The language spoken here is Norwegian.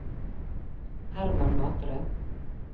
Hermann Matre